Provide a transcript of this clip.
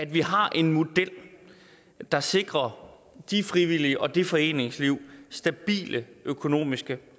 vi har en model der sikrer de frivillige og det foreningsliv stabile økonomiske